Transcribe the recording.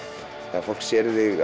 þegar fólk sér